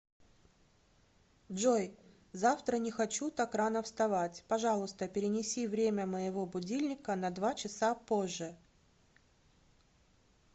джой завтра не хочу так рано вставать пожалуйста перенеси время моего будильника на два часа позже